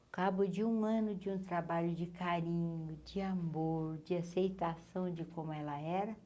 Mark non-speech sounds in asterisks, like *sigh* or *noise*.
*unintelligible* de um ano de um trabalho de carinho, de amor, de aceitação de como ela era.